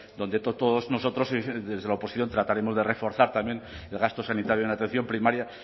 donde todos nosotros desde la oposición trataremos de reforzar también el gasto sanitario en atención primaria